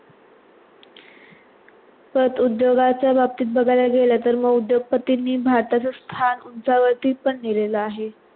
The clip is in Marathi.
तेच उद्योगांचा बाबतीत बगायला गेले तर उद्द्योग पतींनी भारत चा स्थान उंचा वरती पण नीहलेला आहे.